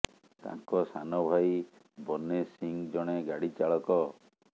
ତାଙ୍କ ସାନ ଭାଇ ବନେ ସିଂ ଜଣେ ଗାଡ଼ି ଚାଳକ